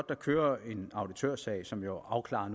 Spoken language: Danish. der kører en auditørsag som jo afklarer